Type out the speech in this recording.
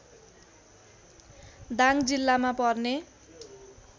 दाङ जिल्लामा पर्ने